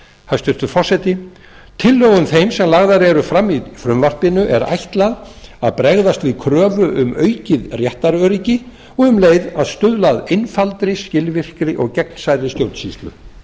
hæstvirtur forseti tillögum þeim sem lagðar eru fram í frumvarpinu er ætlað að bregðast við kröfu um aukið réttaröryggi og um leið að stuðla að einfaldri skilvirkri og gegnsærri stjórnsýslu